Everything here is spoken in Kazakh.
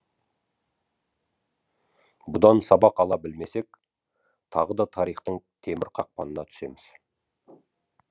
бұдан сабақ ала білмесек тағы да тарихтың темір қақпанына түсеміз